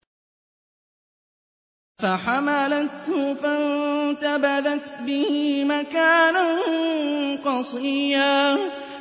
۞ فَحَمَلَتْهُ فَانتَبَذَتْ بِهِ مَكَانًا قَصِيًّا